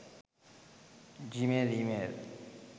gmail email